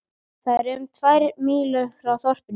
Það er um tvær mílur frá þorpinu